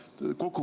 Austatud minister!